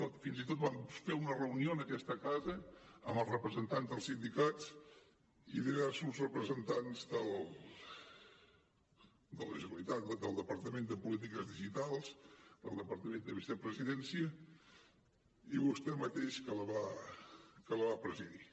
fins i tot vam fer una reunió en aquesta casa amb els representants dels sindicats i diversos representants del departament de polítiques digitals del departament de vicepresidència i vostè mateix que la va presidir